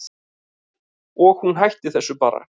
Og hún hætti þessu bara.